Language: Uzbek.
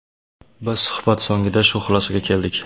Biz suhbat so‘ngida shu xulosaga keldik.